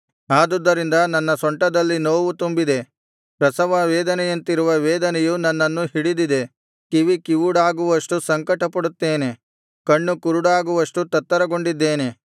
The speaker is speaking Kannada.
ಆದುದ್ದರಿಂದ ನನ್ನ ಸೊಂಟದಲ್ಲಿ ನೋವು ತುಂಬಿದೆ ಪ್ರಸವವೇದನೆಯಂತಿರುವ ವೇದನೆಯು ನನ್ನನ್ನು ಹಿಡಿದಿದೆ ಕಿವಿ ಕಿವುಡಾಗುವಷ್ಟು ಸಂಕಟಪಡುತ್ತೇನೆ ಕಣ್ಣು ಕುರುಡಾಗುವಷ್ಟು ತತ್ತರಗೊಂಡಿದ್ದೇನೆ